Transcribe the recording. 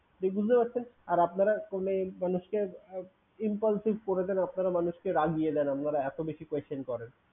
ঠিক বুঝতে পারছেন? আর আপনারা phone এ মানুষ কে impulsive করে দেন, আপনারা মানুষকে রাগিয়ে দেন আপনারা এতো বেশি question করেন।